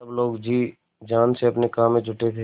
सब लोग जी जान से अपने काम में जुटे थे